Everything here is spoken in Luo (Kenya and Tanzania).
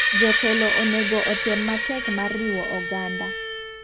Jotelo onego otem matek mar riwo oganda.